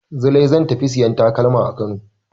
Zulai zan ta tafi sayan takalma a Kano.